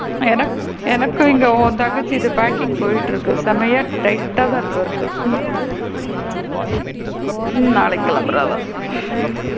எனக்கு எனக்கு இங்க உன் தங்கச்சி இது packing போய் கிட்டு இருக்கு செம்மையா tight டா தான் இருக்கு work கு ம் நாளைக்கு கிளம்புறா அவ,